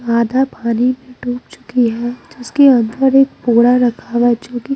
आधा पानी में डूब चुकी हैं जिसके अंदर एक पोड़ा रखा हुआ हैं जो कि--